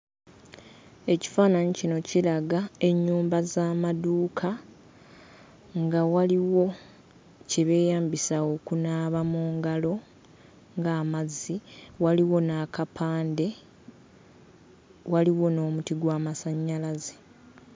Ekifaananyi kino kiraga ennyumba z'amaduuka, nga waliwo kye beeyambisa okunaaba mu ngalo ng'amazzi, waliwo n'akapande, waliwo n'omuti gw'amasannyalaze.